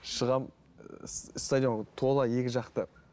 шығамын стадион тола екі жақ та